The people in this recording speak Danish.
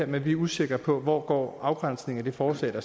men vi er usikre på hvor afgrænsningen af det forslag